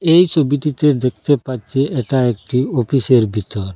এই ছবিটিতে দেখতে পাচ্ছি এটা একটি অফিসের ভিতর।